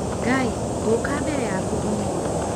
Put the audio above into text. Ngai, ngũũka mbere yaku ũmũthĩ.